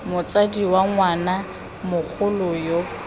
motsadi wa ngwana mogolo yo